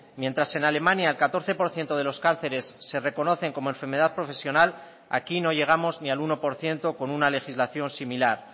mientras en alemania el catorce por ciento de los cánceres se reconocen como enfermedad profesional aquí no llegamos ni al uno por ciento con una legislación similar